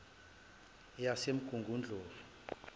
yasemgungundlovu